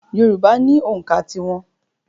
Yorùbá ni ònkà tí wọn.